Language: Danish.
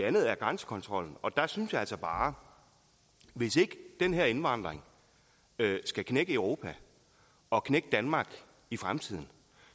andet er grænsekontrollen og der synes jeg altså bare at hvis ikke den her indvandring skal knække europa og knække danmark i fremtiden